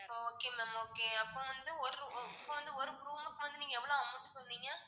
okay ma'am okay அப்போ வந்து ஒரு ஒ~இப்போ வந்து ஒரு room க்கு வந்து நீங்க எவ்ளோ amount சொன்னீங்க?